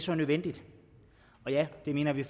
nødvendigt og ja det mener vi